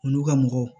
Olu ka mɔgɔw